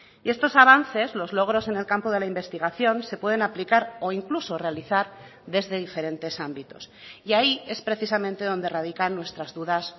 y estos avances los logros en el campo de la investigación se pueden aplicar o incluso realizar desde diferentes ámbitos y ahí es precisamente donde radican nuestras dudas